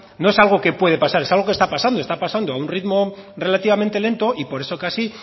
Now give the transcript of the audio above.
no es algo que puede pasar es algo que está pasando está pasando a un ritmo relativamente lento y por eso casi